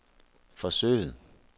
forsøget